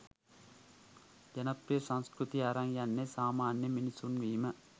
ජනප්‍රිය සංස්කෘතිය අරන් යන්නෙ සාමාන්‍ය මිනිසුන් වීම.